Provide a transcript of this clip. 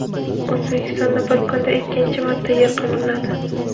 O‘zbekistonda bir kunda ikkinchi marta yer qimirladi.